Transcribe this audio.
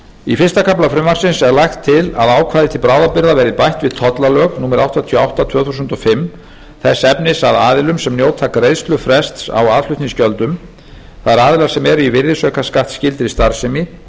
í fyrsta kafla frumvarpsins er lagt til að ákvæði til bráðabirgða verði bætt við tollalög númer áttatíu og átta tvö þúsund og fimm þess efnis að aðilum sem njóta greiðslufrests á aðflutningsgjöldum það er aðilar sem eru í virðisaukaskattskyldri starfsemi